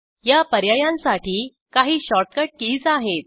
या पर्यायांसाठी काही शॉर्टकट कीज आहेत